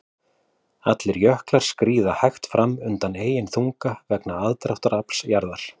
Allir jöklar skríða hægt fram undan eigin þunga vegna aðdráttarafls jarðar.